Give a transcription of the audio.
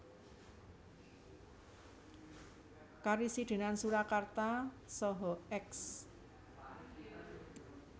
Karesidenan Surakarta saha Eks